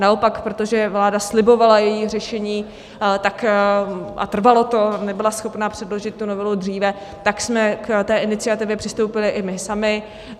Naopak, protože vláda slibovala její řešení a trvalo to, nebyla schopna předložit tu novelu dříve, tak jsme k té iniciativě přistoupili i my sami.